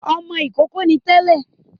Ọmọ ìkókó ni tẹ́lẹ̀